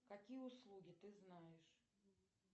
какие услуги ты знаешь